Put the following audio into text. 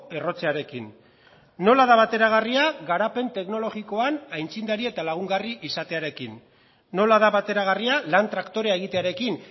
errotzearekin nola da bateragarria garapen teknologikoan aitzindari eta lagungarri izatearekin nola da bateragarria lan traktorea egitearekin